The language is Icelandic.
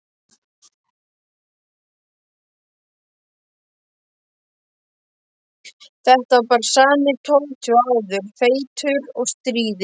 Þetta var bara sami Tóti og áður, feitur og stríðinn.